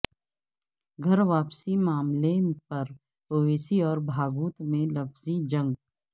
گھر واپسی معاملے پر اویسی اور بھاگوت میں لفظی جنگ